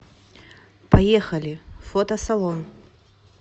поехали фотосалон